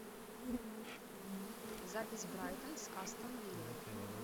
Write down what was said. запись брайтон с астон виллой